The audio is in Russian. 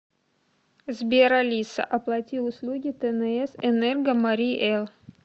сбер алиса оплати услуги тнс энерго марий эл